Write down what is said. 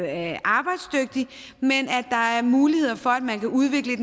er arbejdsdygtig men at der er muligheder for at man kan udvikle